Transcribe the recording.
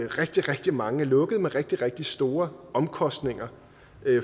rigtig rigtig mange er lukkede med rigtig rigtig store omkostninger